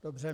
Dobře.